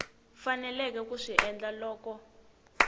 faneleke ku swi endla loko